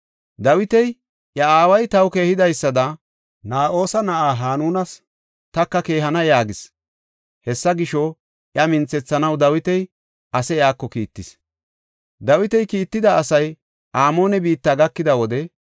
Dawiti, “Iya aaway taw keehidaysada Na7oosa na7aa Hanunas taka keehana” yaagis. Hessa gisho, iya minthethanaw Dawiti ase iyako kiittis. Dawiti kiitida asay Amoone biitta gakida wode,